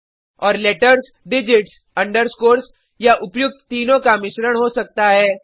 और letters digits underscores या उपर्युक्त तीनों का मिश्रण हो सकता है